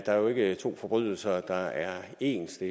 der jo ikke to forbrydelser der er ens det